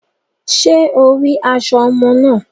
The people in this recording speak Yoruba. Ṣe o ri aṣọ ọmọ náà?